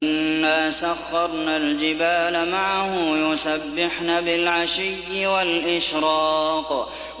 إِنَّا سَخَّرْنَا الْجِبَالَ مَعَهُ يُسَبِّحْنَ بِالْعَشِيِّ وَالْإِشْرَاقِ